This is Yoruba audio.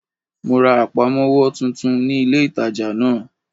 Mo ra àpamówó titun ní ilé ìtajà náà